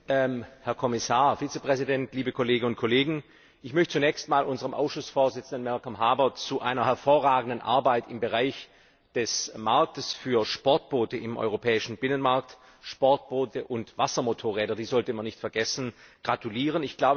Herr Präsident, Herr Kommissar, liebe Kolleginnen und Kollegen! Ich möchte zunächst unserem Ausschussvorsitzenden, Malcolm Harbour, zu seiner hervorragenden Arbeit im Bereich des Marktes für Sportboote im europäischen Binnenmarkt Sportboote und Wassermotorräder, die sollte man nicht vergessen gratulieren.